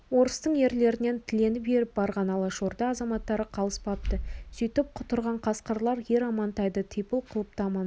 орыстың ерлерінен тіленіп еріп барған алашорда азаматтары қалыспапты сөйтіп құтырған қасқырлар ер амантайды типыл қылыпты амантайды